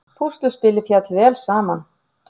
Púsluspilið féll vel saman